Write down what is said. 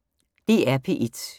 DR P1